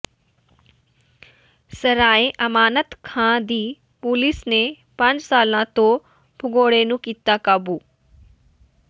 ਸਰਾਏ ਅਮਾਨਤ ਖਾਂ ਦੀ ਪੁਲਿਸ ਨੇ ਪੰਜ ਸਾਲਾਂ ਤੋਂ ਭਗੌੜੇ ਨੂੰ ਕੀਤਾ ਕਾਬੂ